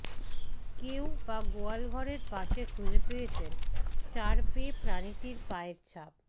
কেউ বা গোয়ালঘরের পাশে খুঁজে পেয়েছেন চার পেয়ে প্রাণীটির পায়ের ছাপ